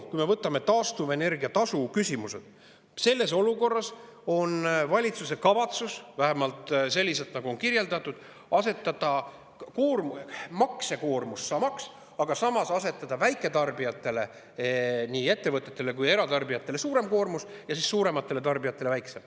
Kui me võtame taastuvenergia tasu küsimused, siis selles olukorras on valitsuse kavatsus – vähemalt nii on kirjeldatud – jätta maksekoormus samaks, aga asetada väiketarbijatele, nii ettevõtetele kui eratarbijatele, suurem koormus ja suurematele tarbijatele väiksem.